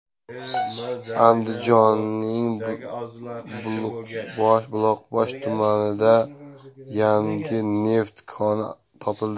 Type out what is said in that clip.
Andijonning Buloqboshi tumanida yangi neft koni topildi.